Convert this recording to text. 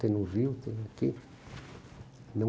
Tem no Rio, tem aqui. Não